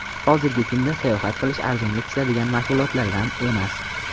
Hozirgi kunda sayohat qilish arzonga tushadigan mashg‘ulotlardan emas.